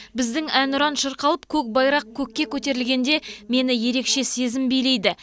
біздің әнұран шырқалып көк байрақ көкке көтерілгенде мені ерекше сезім билейді